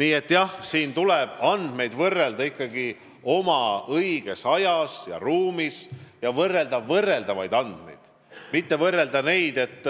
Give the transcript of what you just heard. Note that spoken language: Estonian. Nii et andmeid tuleb võrrelda õiges ajas ja ruumis ning võrrelda saab ikkagi võrreldavaid andmeid, mitte nii, et